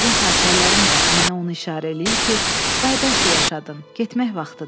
Yəqin xatirələrim də mənə onu işarə eləyir ki, day bəsdir yaşadın, getmək vaxtıdır.